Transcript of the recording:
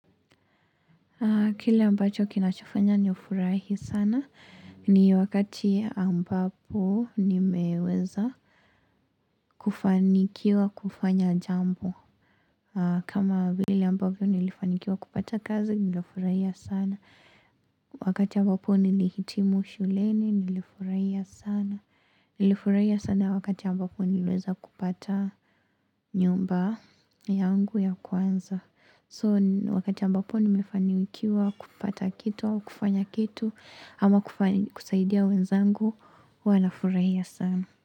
Kile ambacho kinachofanya nifurahi sana ni wakati ambapo nimeweza kufanikiwa kufanya jambo. Kama vile ambavyo nilifanikiwa kupata kazi nilifurahia sana. Wakati ambapo nilihitimu shuleni nilifurahia sana. Nilifurahia sana wakati ambapo niliweza kupata nyumba yangu ya kwanza. So wakati ambapo nimefanikiwa kupata kitu au kufanya kitu ama kusaidia wenzangu huwa nafurahia sana.